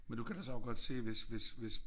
Men du kan da så også godt se hvis hvis hvis